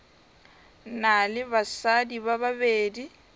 na le basadi ba babedi